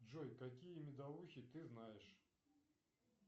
джой какие медовухи ты знаешь